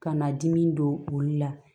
Ka na dimi don olu la